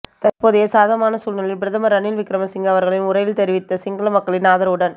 தற்போதைய சாதகமான சூழலில் பிரதமர் ரணில் விக்கிரமசிங்க அவர்களின் உரையில் தெரிவித்த சிங்கள மக்களின் ஆதரவுடன்